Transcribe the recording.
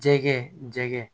Jɛgɛ jɛgɛ